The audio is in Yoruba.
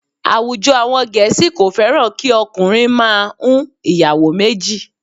Àwùjọ àwọn Gẹ̀ẹ́sì kò fẹ́ràn kí okùnrin máa ń ìyàwó méjì